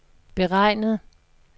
beregnet